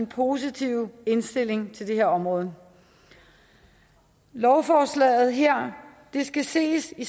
positive indstilling til det her område lovforslaget her skal ses i